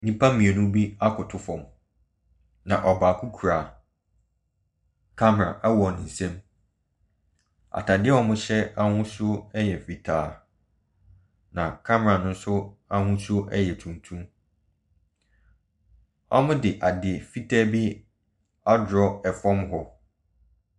Nnipa mmienu bi akoto fam, na ɔbaako kura camera wɔ ne nsam. Ataadeɛ a wɔhyɛ ahosuo yɛ fitaa, na camera ne nso ahosuo yɛ tuntum. Wɔde ade fitaa bi atwerɛ fam hɔ.